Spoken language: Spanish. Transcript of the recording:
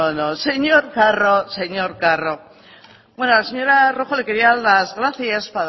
no no señor carro señor carro bueno a la señora rojo le quería dar las gracias